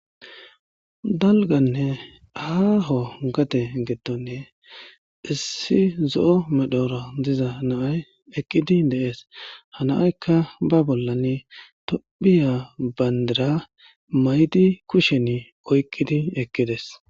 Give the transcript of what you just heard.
Dalganne aaho gate gettonne issi zo'o medhoro diza naay ekqidi deees hanaaykka ba bollan tophiya bayndira maydi kushen oyqqidi ekqides.